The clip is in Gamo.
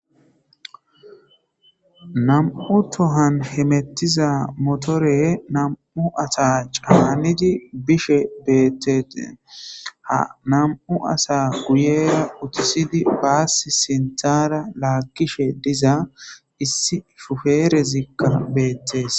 nam7u tohan hemettiza motore nam7u asa caanidi bishe beettete ha nam7u asa guyera utisidi baassi sinthara laakkishe diza issi fufeerezikka beettes